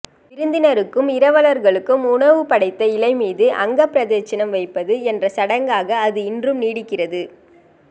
விருந்தினருக்கும் இரவலர்களுக்கும் உணவு படைத்த இலைமீது அங்கப்பிரதட்சிணம் வைப்பது என்ற சடங்காக அது இன்றும் நீடிக்கிறது